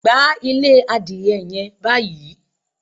Gbá ilé adìẹ yẹn báyìí!